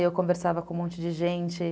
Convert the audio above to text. E eu conversava com um monte de gente.